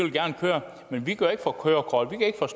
køre